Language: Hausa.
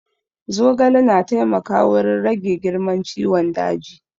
Zogale na taimaka wurin rage girman ciwon daji